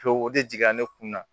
o de jiginna ne kun na